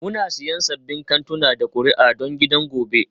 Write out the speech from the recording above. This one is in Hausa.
Muna siyan sabbin kantuna da kuri'a don gidan gobe